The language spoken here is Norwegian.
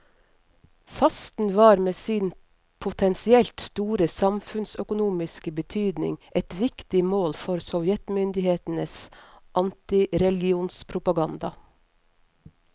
Fasten var med sin potensielt store samfunnsøkonomiske betydning et viktig mål for sovjetmyndighetenes antireligionspropaganda.